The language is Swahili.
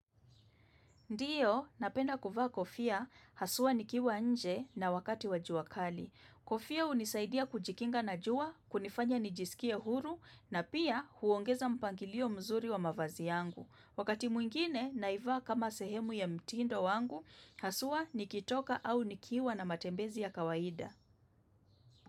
Ndiyo, napenda kuvaa kofia, haswa nikiwa nje na wakati wa jua kali. Kofia hunisaidia kujikinga na jua, kunifanya nijisikie huru, na pia huongeza mpangilio mzuri wa mavazi yangu. Wakati mwingine, naivaa kama sehemu ya mtindo wangu, haswa nikitoka au nikiwa na matembezi ya kawaida.